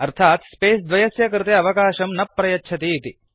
अर्थात् स्पेस द्वयस्य कृये अवकाशं न प्रयच्छति इति